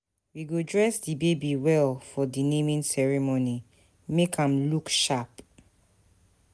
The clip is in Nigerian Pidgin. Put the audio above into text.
We go dress di baby well for di naming ceremony, make am look sharp.